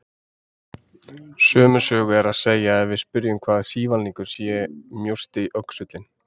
Sömu sögu er að segja ef við spyrjum hvaða sívalningur sé mjósti öxullinn.